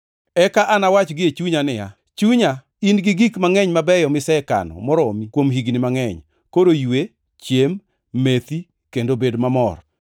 Eka anawach gie chunya niya, “Chunya in-gi gik mangʼeny mabeyo misekano moromi kuom higni mangʼeny. Koro ywe, chiem, methi kendo bed mamor.” ’